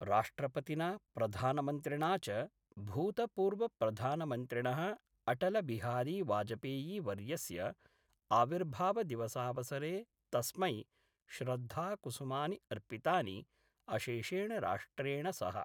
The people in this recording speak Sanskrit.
राष्ट्रपतिना प्रधानमन्त्रिणा च भूतपूर्वप्रधानमन्त्रिणः अटलबिहारीवाजपेयीवर्यस्य आविर्भावदिवसावसरे तस्मै श्रद्धाकुसुमानि अर्पितानि, अशेषेण राष्ट्रेण सह।